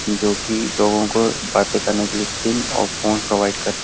जो कि लोगों को बातें करने के लिए सिम और फ़ोन प्रोवाइड कर --